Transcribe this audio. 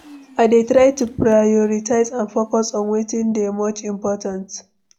i dey try to prioritize and focus on wetin dey much important.